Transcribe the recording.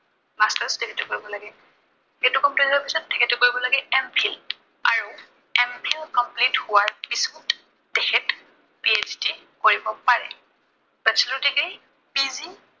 masters degree কৰিব লাগে। BA টো complete হোৱাৰ পিছত তেখেতে কৰিব লাগে MPhil । আৰু MPhil complete হোৱাৰ পিছত তেখেত PHd কৰিব পাৰে। bachelor degree PHd